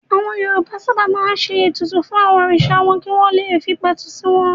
Àwọn Yorùbá sábà máa ń ṣe ètùtù fún àwọn òrìṣà wọn kí wọ́n fi le pẹ̀tù sí wọn.